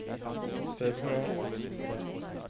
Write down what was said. februar